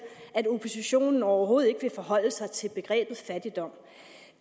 at oppositionen overhovedet ikke vil forholde sig til begrebet fattigdom